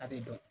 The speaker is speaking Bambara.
A bɛ dɔn